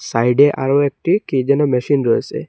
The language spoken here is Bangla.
সাইডে আরও একটি কি যেনো মেশিন রয়েসে।